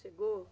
Chegou?